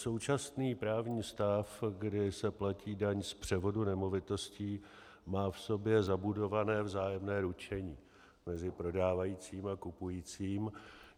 Současný právní stav, kdy se platí daň z převodu nemovitostí, má v sobě zabudované vzájemné ručení mezi prodávajícím a kupujícím.